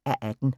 (4:18)